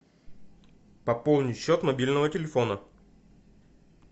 пополнить счет мобильного телефона